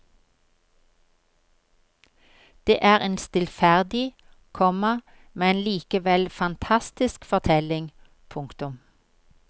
Det er en stillferdig, komma men likevel fantastisk fortelling. punktum